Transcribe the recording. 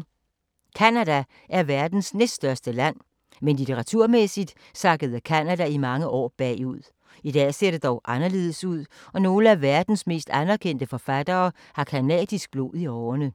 Canada er verdens næststørste land, men litteraturmæssigt sakkede Canada i mange år bagud. I dag ser det dog anderledes ud og nogle af verdens mest anerkendte forfattere har canadisk blod i årerne.